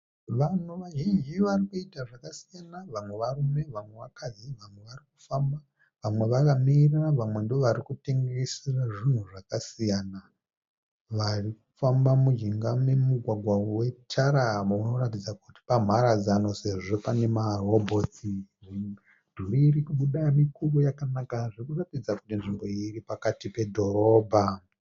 Vanhu vazhinji vari kuita zvakasiyana, vamwe varume vamwe vakadzi vamwe vari kufamba vamwe vakamira vamwe ndovarikutengesa zvinhu zvakasiyana. Varikufamba mujinga momugwagwa wetara munoratidza kuti pamharadzano sezvo pane marobhotsi. Midhuri irikubuda mikuru yakanaka zvikuratidza kuti nzvimbo iyi iri pakati pedhorobha.